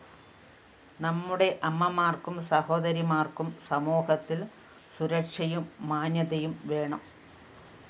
നമ്മുടെ അമ്മമാര്‍ക്കും സഹോദരിമാര്‍ക്കും സമൂഹത്തില്‍ സുരക്ഷയും മാന്യതയും വേണം